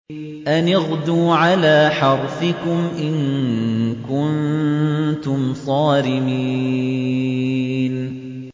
أَنِ اغْدُوا عَلَىٰ حَرْثِكُمْ إِن كُنتُمْ صَارِمِينَ